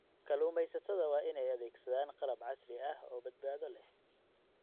Kalluumeysatada waa inay adeegsadaan qalab casri ah oo badbaado leh.